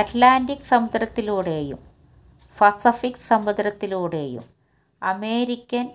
at ലാൻറിക് സമുദ്രത്തിലൂടെയും Pacific സമുദ്രത്തിലൂടെയും American